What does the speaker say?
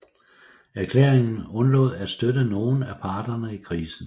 Erklæringen undlod at støtte nogen af parterne i krisen